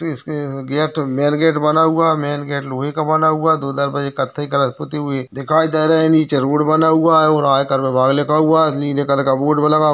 इसमे gate main gate बना हुआ है। मेन गेट लोहे का बना हुआ है। दो दरवाजे कथई कलर से पुती हुई दिखाई दे रहे हैं। नीचे रोड बना हुआ है और आयकर विभाग लिखा हुआ है नीले कलर का बोर्ड लगा हुआ है।